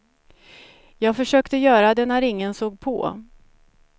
Jag försökte göra det när ingen såg på.